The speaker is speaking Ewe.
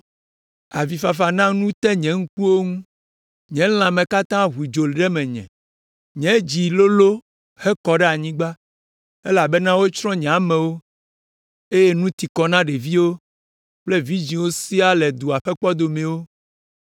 Avifafa na nu te nye ŋkuwo ŋu, nye lãme katã ʋu dzo ɖe menye, nye dzi lolõ hekɔ ɖe anyigba, elabena wotsrɔ̃ nye amewo, eye nu ti kɔ na ɖeviwo kple vidzĩwo siaa le dua ƒe kpɔdomewo.